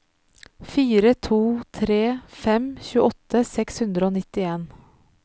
fire to tre fem tjueåtte seks hundre og nittien